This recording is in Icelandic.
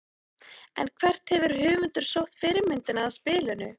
En hvert hefur höfundur sótt fyrirmyndina að spilinu?